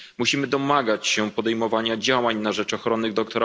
Musimy domagać się podejmowania działań na rzecz ochrony dr.